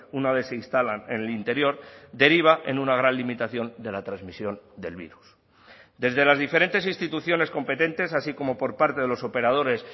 una vez se instalan en el interior deriva en una gran limitación de la transmisión del virus desde las diferentes instituciones competentes así como por parte de los operadores